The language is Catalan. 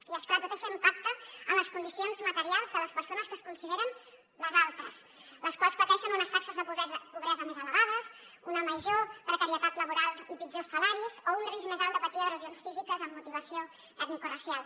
i és clar tot això impacta en les condicions materials de les persones que es consideren les altres les quals pateixen unes taxes de pobresa més elevades una major precarietat laboral i pitjors salaris o un risc més alt de patir agressions físiques amb motivació etnicoracial